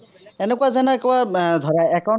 এনেকুৱা যেনেকুৱা এৰ ধৰা account